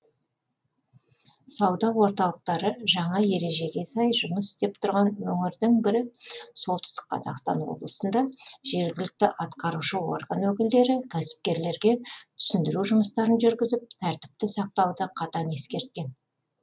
сауда орталықтары жаңа ережеге сай жұмыс істеп тұрған өңірдің бірі солтүстік қазақстан облысында жергілікті атқарушы орган өкілдері кәсіпкерлерге түсіндіру жұмыстарын жүргізіп тәртіпті сақтауды қатаң ескерткен